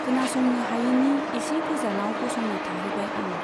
खोनासंनो हायैनि एसे गोजानाव गसंना थाहैबाय आं।